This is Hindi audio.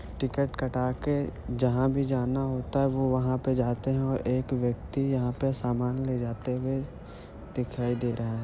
टिकट कटाके जहा भी जाना होता है वो वहा पे जाते है| एक व्यक्ति यहा पे सामान लेजाते हुए दिखाई दे रहा है।